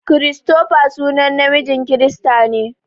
Christopher sunan namiji kirista ne.